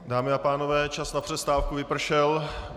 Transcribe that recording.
Dámy a pánové, čas na přestávku vypršel.